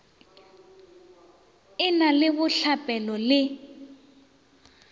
e na le bohlapelo le